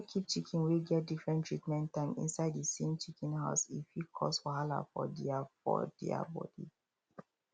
no keep chicken wey get different treatment time inside the same chicken house e fit cause wahala for their for their body